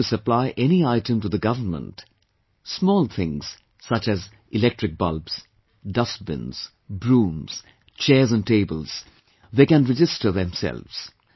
Whoever wants to supply any item to the government, small things such as electric bulbs, dustbins, brooms, chairs and tables, they can register themselves